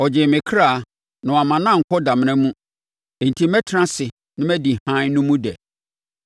Ɔgyee me ɔkra na wamma no ankɔ damena mu, enti mɛtena ase na madi hann no mu dɛ.’